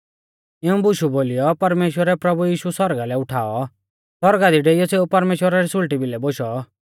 इऊं बुशु बोलीयौ परमेश्‍वरै प्रभु यीशु सौरगा लै उठाऔ सौरगा दी डेईयौ सेऊ परमेश्‍वरा रै सुल़टी भिलै बोशौ